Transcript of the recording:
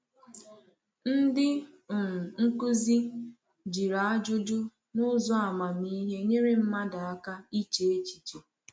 Ndị um nkuzi jiri ajụjụ n’ụzọ amamihe nyere mmadụ aka iche echiche.